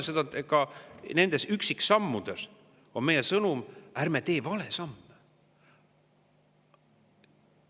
Aga nende üksiksammude puhul on meie sõnum: ärme tee valesamme.